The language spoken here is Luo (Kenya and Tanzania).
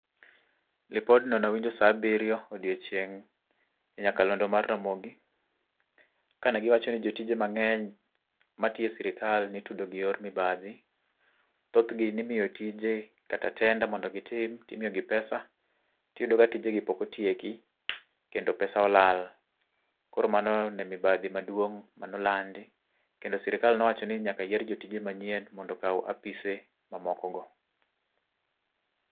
Lipod no nawinjo sa abiriyo odiochieng', e nyakalondo mar Ramogi. Kane giwacho ni jotije mange'ny, matiye sirikal nitudo gi yor mibadhi. Thothgi nimiyo tije kata tendor mondo gitim timiyo gi pesa, tiyudo ka tijegi pok otieki kendo pesa olal, koro mano ne mibadhi maduong' manolandi, kendo sirikal nowacho ni nyaka yier jotije manyien mondo okaw apise ma moko go